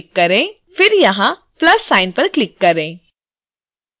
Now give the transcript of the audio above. फिर यहाँ plus sign पर क्लिक करें